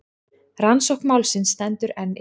Rannsókn málsins stendur enn yfir.